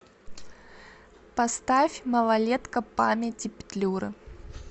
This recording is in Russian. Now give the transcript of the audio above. поставь малолетка памяти петлюры